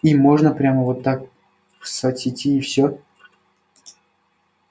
им можно прямо вот так в соцсети всё